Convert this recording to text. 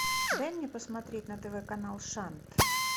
дай мне посмотреть на тв канал шант